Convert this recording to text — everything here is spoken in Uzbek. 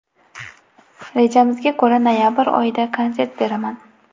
Rejamizga ko‘ra, noyabr oyida konsert beraman.